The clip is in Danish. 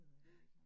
Ja